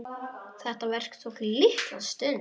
Það verk tók litla stund.